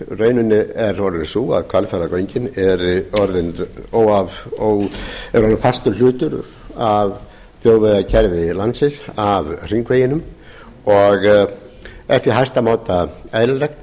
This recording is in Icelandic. raunin er sú að hvalfjarðargöngin eru orðin fastur hlutur af þjóðvegakerfi landsins af hringveginum og er því í hæsta máta eðlilegt